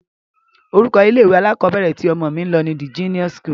Orúkọ ilé-ìwé alákọọ́bẹ̀rẹ̀ tí ọmọ mí ń lọ ni De-Genius school.